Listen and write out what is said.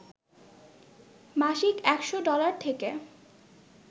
মাসিক একশ ডলার থেকে